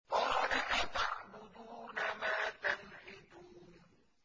قَالَ أَتَعْبُدُونَ مَا تَنْحِتُونَ